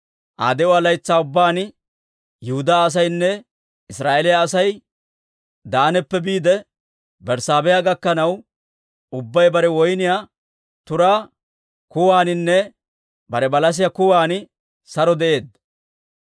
Aa de'uwaa laytsaa ubbaan Yihudaa asaynne Israa'eeliyaa Asay Daanappe biide Berssaabeha gakkanaw, ubbay bare woyniyaa turaa kuwaaninne bare balasiyaa kuwan saro de'eedda.